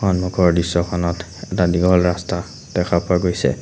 সন্মুখৰ দৃশ্যখনত এটা দীঘল ৰাস্তা দেখা পোৱা গৈছে।